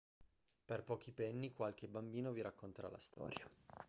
per pochi penny qualche bambino vi racconterà la storia